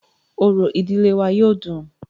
Orò ìdílé wa yóó dùn-ùn.